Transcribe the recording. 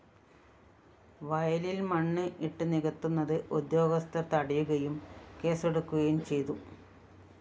വയലില്‍ മണ്ണ് ഇട്ട് നികത്തുന്നത് ഉദ്യോഗസ്ഥര്‍ തടയുകയും കേസെടുക്കുകയും ചെയ്തു